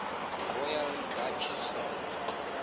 royal dutch shell